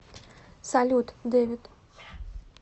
салют дэвид